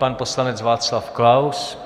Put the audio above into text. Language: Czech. Pan poslanec Václav Klaus.